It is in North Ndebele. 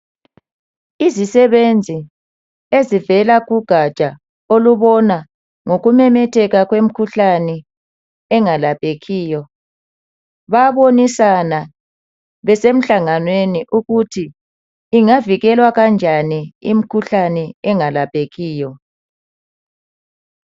Izisebenzi ezivela kugaja olubona ngokumemetheka kwemikhuhlane engalaphekiyo bayabonisana besemhlanganweni ukuthi ingavikelwa kanjani imkhuhlane engalaphekiyo.